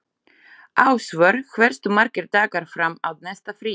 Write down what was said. Ásvör, hversu margir dagar fram að næsta fríi?